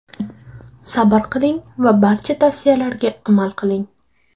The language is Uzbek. Sabr qiling va barcha tavsiyalarga amal qiling.